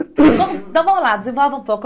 Vamos então vamos lá, desenvolva um pouco.